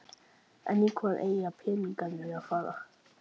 En í hvað eiga peningarnir að fara?